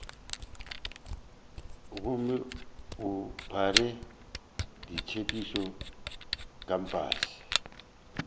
gomme o phare ditsebišo kampase